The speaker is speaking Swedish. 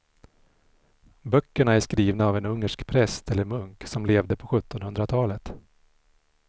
Böckerna är skrivna av en ungersk präst eller munk som levde på sjuttonhundratalet.